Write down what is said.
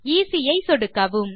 easy ஐ சொடுக்கவும்